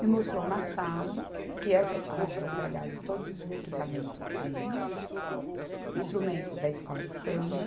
me mostrou uma sala, que essa sala estava guardado todos os equipamentos de instrumentos da escola de samba.